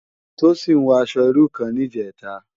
Tosin wò aṣò irú kán nijètá